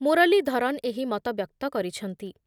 ମୁରଲୀଧରନ୍ ଏହି ମତବ୍ୟକ୍ତ କରିଛନ୍ତି ।